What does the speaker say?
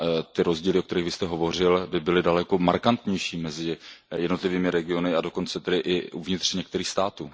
ty rozdíly, o kterých vy jste hovořil, by byly daleko markantnější mezi jednotlivými regiony a dokonce tedy i uvnitř některých států.